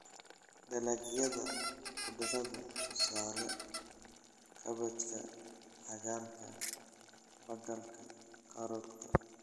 Dalagyada khudradda: tusaale, kaabajka, cagaarka bagalka, karootada.